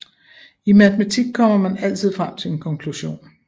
I matematik kommer man altid frem til en konklusion